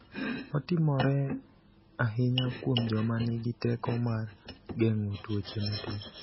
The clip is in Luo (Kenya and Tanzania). Otimore ahinya kuom joma nigi teko mar geng’o tuoche matin.